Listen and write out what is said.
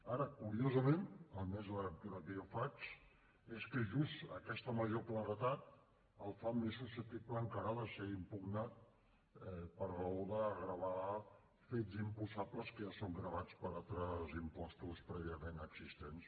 ara curiosament almenys la lectura que jo en faig és que justament aquesta major claredat el fa més susceptible encara de ser impugnat per raó de gravar fets imposables que ja són gravats per altres impostos prèviament existents